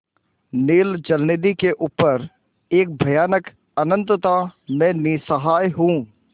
नील जलनिधि के ऊपर एक भयानक अनंतता में निस्सहाय हूँ